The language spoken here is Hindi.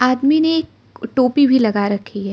आदमी ने टोपी भी लगा रखी है।